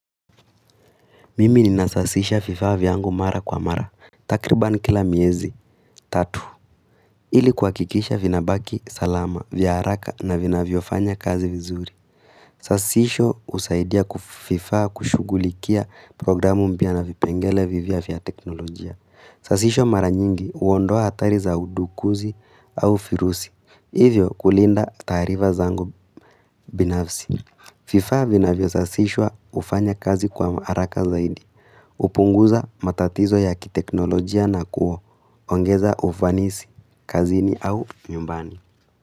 Mimi ninasasisha fifa vyangu mara kwa mara. Takriban kila miezi, tatu. Ili kuhakikisha vina baki salama vya haraka na vina vyofanya kazi vizuri. Sasisho usaidia kufifa kushugulikia programu mbiana vipengele vivia vya teknolojia. Sasisho mara nyingi uondoa hatari za udukuzi au firusi. Hivyo kulinda tariva zangu binafsi. FIFA vina vio sasishwa ufanya kazi kwa haraka zaidi. Upunguza matatizo ya kiteknolojia na kuo ongeza ufanisi, kazini au nyumbani.